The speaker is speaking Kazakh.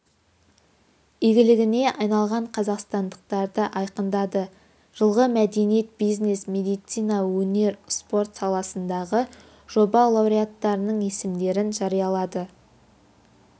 игілігіне айналған қазақстандықтарды айқындады жылғы мәдениет бизнес медицина өнер спорт саласындағы жоба лауреаттарының есімдерін жариялады